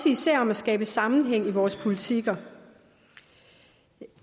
især om at skabe sammenhæng i vores politikker